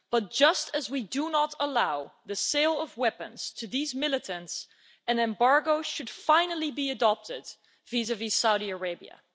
But just as we do not allow the sale of weapons to these militants, an embargo should finally be adopted vis vis Saudi Arabia.